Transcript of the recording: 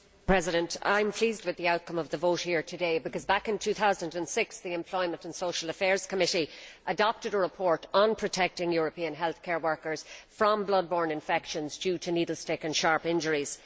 Mr President, I am pleased with the outcome of the vote here today because, back in 2006, the Employment and Social Affairs Committee adopted a report on protecting European healthcare workers from blood borne infections due to needle stick and sharp injuries.